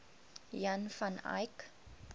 jan van eyck